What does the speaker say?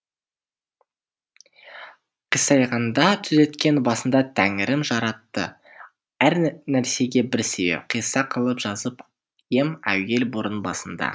қисайғанда түзеткен басында тәңірім жаратты әр нәрсеге бір себеп қисса қылып жазып ем әуел бұрын басында